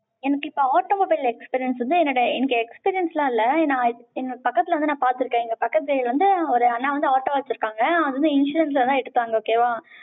எனக்கு இப்ப automobile experience வந்து, என்னோட, எனக்கு என்னோட பக்கத்துல வந்து நான் பார்த்திருக்கேன். இங்க பக்கத்து வந்து, ஒரு அண்ணா வந்து, auto வைச்சிருக்காங்க. அவன் வந்து, insurance லதான் எடுத்தாங்க, okay வா?